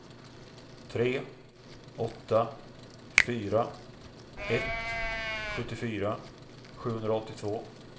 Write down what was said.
tre åtta fyra ett sjuttiofyra sjuhundraåttiotvå